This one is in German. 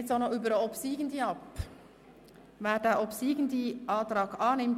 Wir stimmen über diesen obsiegenden Antrag ab.